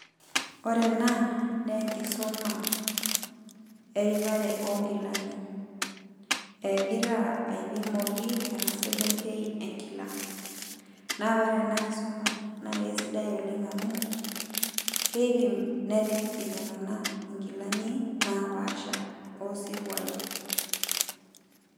Ore ena, neenkisuma eripare onkilani. Egira aipimaki ena selenkei enkila. Na ore enakisoma, na kesidai oleng amu, keipim nerip iltung'anak inkilani, napaasha osiruai.